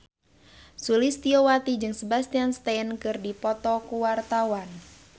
Sulistyowati jeung Sebastian Stan keur dipoto ku wartawan